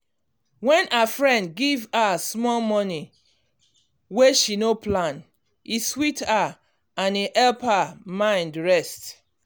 when her friend give her small money wey she no plan e sweet her and e help her mind rest